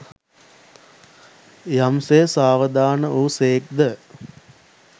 යම් සේ සාවධාන වූ සේක් ද